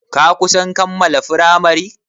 Ka kusan kammala firamari?